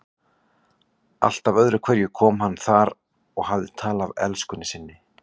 Alltaf öðru hverju kom hann þar og hafði tal af elskunni sinni.